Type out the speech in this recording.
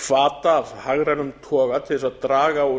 hvata af hagrænum toga til þess að draga úr